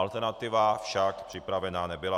Alternativa však připravena nebyla.